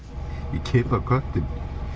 ég keyrði á köttinn